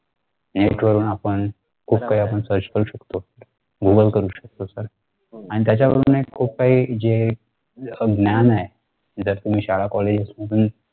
एक आपण खूप काही आपण search करू शकतो google करू शकतो sir आणि त्याच्यावरूनही खूप काही जे ज्ञान आहे जर तुम्ही शाळा collage मधून